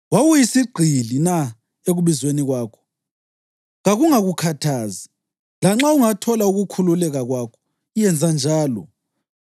Wawuyisigqili na ekubizweni kwakho? Kakungakukhathazi, lanxa ungathola ukukhululeka kwakho, yenza njalo.